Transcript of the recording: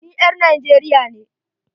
NI ƴar Nigeria ne.